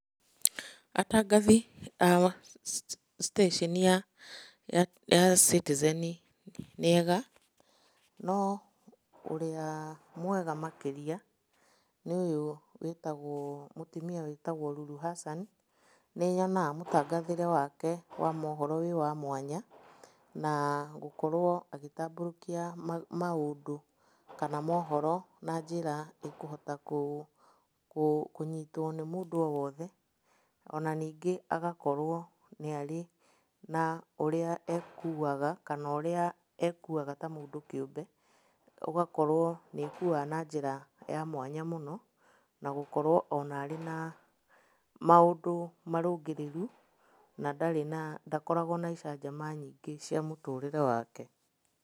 Atangathi a citĩceni ya Citizen nĩega, no ũrĩa mwega makĩria nĩ ũyũ wĩtagwo, mũtumia wĩtagwo Lulu Hassan. Nĩnyonaga mũtangathĩre wake wa mohoro wĩ wa mwanya, na gũkorwo agĩtambũrũkia maũndũ kana mohoro na njĩra ĩkũhota kũnyitwo nĩ mũndũ o wothe. Ona ningĩ agakorwo nĩarĩ na ũrĩa ekuaga kana ũrĩa ekuaga ta mũndũ kĩũmbe, ũgakorwo nĩekuaga na njĩra ya mwanya mũno, na gũkorwo ona arĩ na maũndũ marũngĩrĩru na ndarĩ na, ndakoragwo na icanjama nyingĩ cia mũtũrĩre wake.